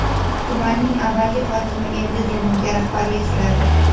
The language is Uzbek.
Tumanning avvalgi hokimi endi Denovga rahbarlik qiladi.